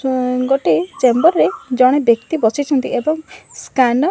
N ଗୋଟେ chamber ରେ ଜଣେ ବ୍ୟକ୍ତି ବସିଛନ୍ତି ଏବଂ ସ୍କ୍ୟାନର --